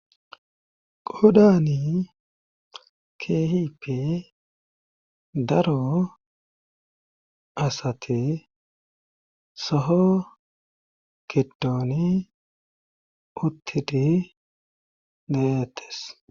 Qodani keehippe daro asate soho giddoni uttidi neyettes